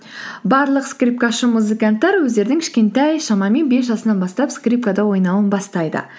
барлық скрипкашы музыканттар өздерінің кішкентай шамамен бес жасынан бастап скрипкада ойнауын бастайды